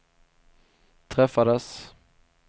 träffades